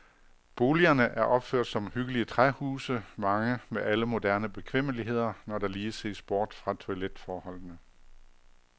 Boligerne er opført som hyggelige træhuse, mange med alle moderne bekvemmeligheder, når der lige ses bort fra toiletforholdene.